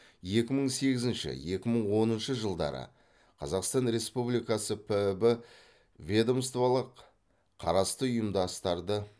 екі мың сегізінші екі мың оныншы жылдары қазақстан республикасы піб ведомстволық қарасты ұйымдастарды